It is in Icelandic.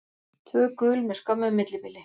Tvö gul með skömmu millibili.